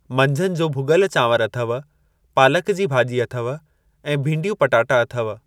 मंझंदि जो भुॻल चांवर अथव पालक जी भाॼी अथव ऐं भींडियूं पटाटा अथव।